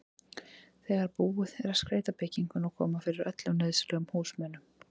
þegar búið er að skreyta bygginguna og koma fyrir öllum nauðsynlegum húsmunum.